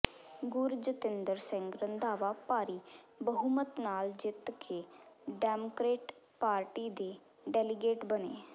ਗੁਰਜਤਿੰਦਰ ਸਿੰਘ ਰੰਧਾਵਾ ਭਾਰੀ ਬਹੁਮਤ ਨਾਲ ਜਿੱਤ ਕੇ ਡੈਮਕ੍ਰੇਟ ਪਾਰਟੀ ਦੇ ਡੈਲੀਗੇਟ ਬਣੇ